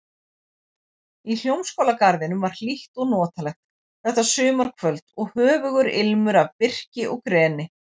Í Hljómskálagarðinum var hlýtt og notalegt þetta sumarkvöld og höfugur ilmur af birki og greni.